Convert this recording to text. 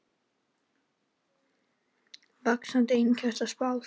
Vaxandi einkaneyslu spáð